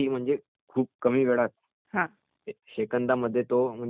सेकंदामध्ये म्हणजे तो सोल्व्ह म्ङणजे सोडवू शकतो तो..